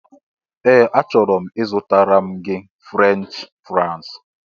Ee! A chọrọ m ịzụtara m gị Frenchị fraịs.